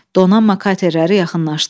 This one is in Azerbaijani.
Donanma katerləri yaxınlaşdı.